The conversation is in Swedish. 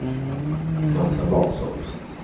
Marta Larsson